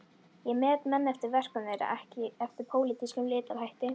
Ég met menn eftir verkum þeirra, ekki eftir pólitískum litarhætti.